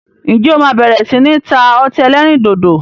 Ǹjẹ́ o máa bẹ̀rẹ̀ sini ta ọtí ẹlẹ́rìndòdò?